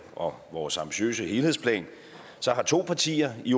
og vores ambitiøse helhedsplan har to partier i